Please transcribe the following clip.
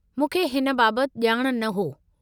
मूंखे हिन बाबत ॼाण न हो।